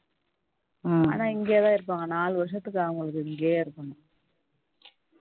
ஆனா இங்க தான் இருப்பாங்க நாலு வருஷத்துக்கு அவங்களுக்கு இங்கேயே இருக்கணும்